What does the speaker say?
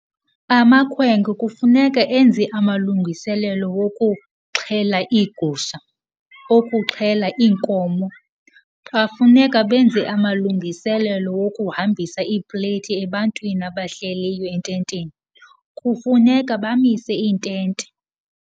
Amakhwenkwe kufuneka enze amalungiselelo wokuxhela iigusha, okuxhela iinkomo. Bafuneka benze amalungiselelo wokuhambisa iipleyiti ebantwini abahleliyo ententeni, kufuneka bamise iintente.